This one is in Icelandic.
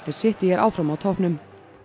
City er áfram á toppnum